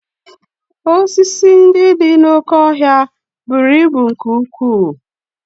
Osisi ndị dị n'oké ọhịa buru ibu nke ukwuu